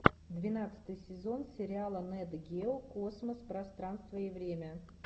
двенадцатый сезон сериала нэт гео космос пространство и время